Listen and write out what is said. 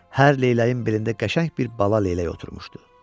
Hər leyləyin bilində qəşəng bir bala leylək oturmuşdu.